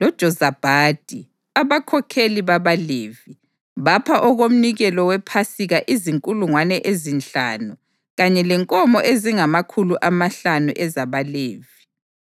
loJozabhadi, abakhokheli babaLevi, bapha okomnikelo wePhasika izinkulungwane ezinhlanu kanye lenkomo ezingamakhulu amahlanu ezabaLevi.